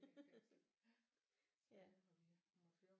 Der er et fængsel så det har vi måttet høre